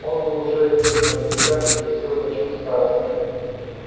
он был уже одет на безрукавке блестел значок старосты